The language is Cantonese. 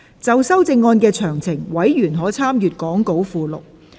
就修正案詳情，委員可參閱講稿附錄。